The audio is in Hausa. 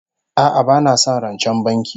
A'a bana son rancen banki